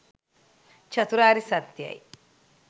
චතුරාර්ය සත්‍යයයි.